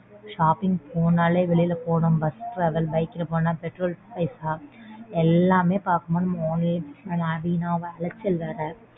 Shopping போனும்னாலே வெளில போணும் bus travel bike ல போனா petrol க்கு பைசா எல்லாமே பார்க்கும்போது நம்ம online வீணான அலைச்சல் வேற.